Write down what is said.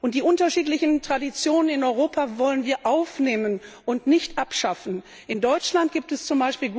Die unterschiedlichen Traditionen in Europa wollen wir aufnehmen und nicht abschaffen. In Deutschland gibt es z.